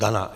Dana.